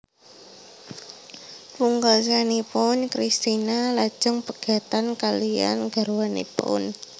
Pungkasanipun Kristina lajeng pegatan kaliyan garwanipun